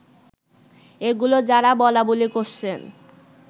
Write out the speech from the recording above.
এগুলো যারা বলাবলি করছেন